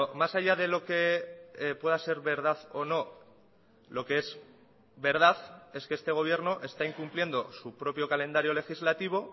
más allá de lo que pueda ser verdad o no lo que es verdad es que este gobierno está incumpliendo su propio calendario legislativo